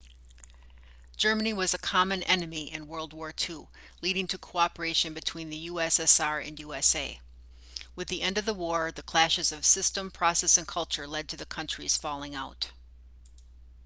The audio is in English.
germany was a common enemy in world war 2 leading to cooperation between the ussr and usa with the end of the war the clashes of system process and culture led to the countries falling out